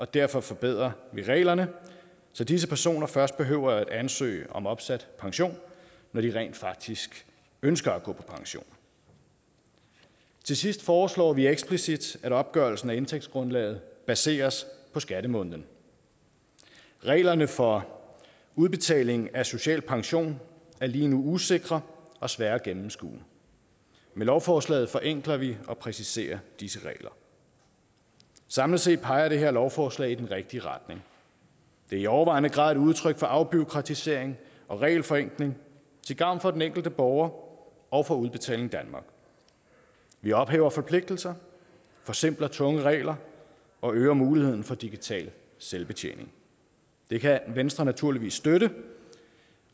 derfor forbedrer vi reglerne så disse personer først behøver at ansøge om opsat pension når de rent faktisk ønsker at gå på pension til sidst foreslår vi eksplicit at opgørelsen af indtægtsgrundlaget baseres på skattemåneden reglerne for udbetaling af social pension er lige nu usikre og svære at gennemskue med lovforslaget forenkler vi og præciserer disse regler samlet set peger det her lovforslag i den rigtige retning det er i overvejende grad et udtryk for afbureaukratisering og regelforenkling til gavn for den enkelte borger og for udbetaling danmark vi ophæver forpligtelser forsimpler tunge regler og øger muligheden for digital selvbetjening det kan venstre naturligvis støtte